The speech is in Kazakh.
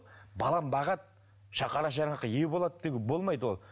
балам бағады қара шаңыраққа ие болады деген болмайды ол